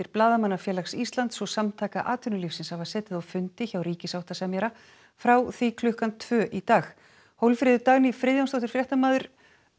Blaðamannafélags Íslands og Samtaka atvinnulífsins hafa setið á fundi hjá ríkissáttasemjara frá því klukkan tvö í dag Hólmfríður Dagný Friðjónsdóttir fréttamaður